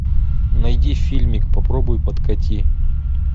найди фильмик попробуй подкати